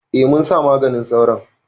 A munsa maganin sauron